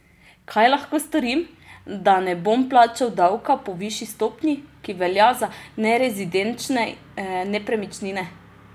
Kaj lahko storim, da ne bom plačal davka po višji stopnji, ki velja za nerezidenčne nepremičnine?